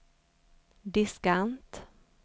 diskant